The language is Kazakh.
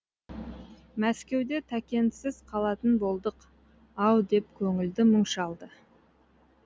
мәскеуде тәкенсіз қалатын болдық ау деп көңілді мұң шалды